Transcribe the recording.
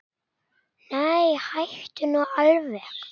Nei, hættu nú alveg.